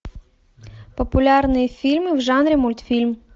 популярные фильмы в жанре мультфильм